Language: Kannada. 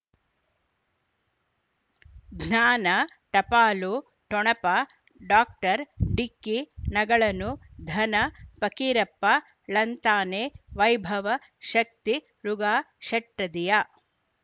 ಜ್ಞಾನ ಟಪಾಲು ಠೊಣಪ ಡಾಕ್ಟರ್ ಢಿಕ್ಕಿ ಣಗಳನು ಧನ ಫಕೀರಪ್ಪ ಳಂತಾನೆ ವೈಭವ ಶಕ್ತಿ ಯುಗಾ ಷಟ್ಪದಿಯ